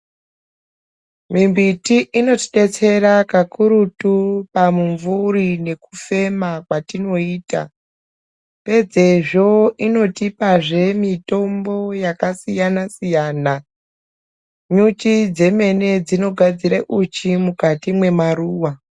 Mimbiti inotidetsera kakurutu pamumvuri nekufema kwatinoita, pedzezvo inotipazve mitombo yakasiyana-siyana, nyuchi dzemene dzinogadzire uchi mukati mwemaruwa.